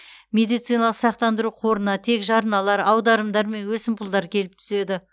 медициналық сақтандыру қорына тек жарналар аударымдар мен өсімпұлдар келіп түседі